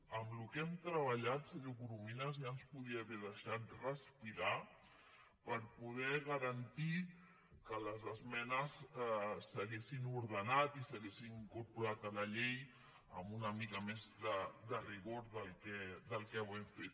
amb el que hem treballat senyor corominas ja ens podria haver deixat respirar per poder garantir que les esmenes s’haguessin ordenat i s’haguessin incorporat a la llei amb una mica més de rigor de com ho hem fet